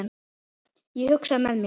Ég hugsaði með mér